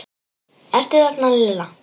Ertu þarna Lilla?